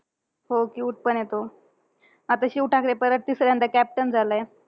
हो cute पण आहे तो. आता शिव ठाकरे परत तिसऱ्यांदा captain झालायं.